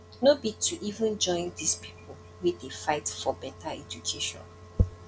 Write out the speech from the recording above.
no be to even join dis pipu wey dey fight fore beta education